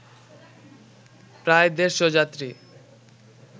প্রায় দেড়’শ যাত্রী